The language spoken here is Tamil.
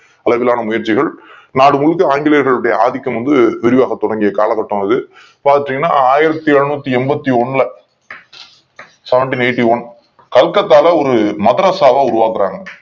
அளவிலான முயற்சிகள் நாடு முழுவதும் ஆங்கிலேயர்கள் உடைய ஆதிக்கம் வந்து விரிவாக தொடங்கிய காலகட்டம் அது பாத்தீங்கன்னா ஆயிரத்தி எழுனூத்தி என்பத்தி ஒன்னு ல அப்படியே வந்துரும் ஆயிரத்தி எழுனூத்தி என்பத்தி ஒன்னு seventeen eighty one கல்கத்தாவில் ஒரு மதரசாவை உருவாக்குறாங்க